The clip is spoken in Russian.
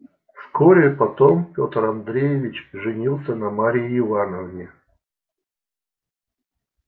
вскоре потом пётр андреевич женился на марье ивановне